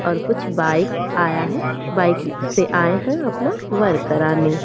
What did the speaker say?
और कुछ बाइक आया है बाइक से आये है अपना --